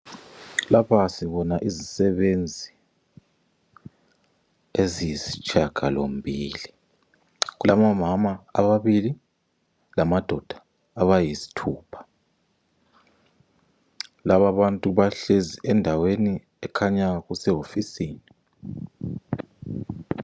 Lapha sibona izisebenzi eziyisitshiyagalombili. Kulabomama ababili lamadoda abayisithupha. Lababantu bahlezi endaweni ekhanya kusehofisini.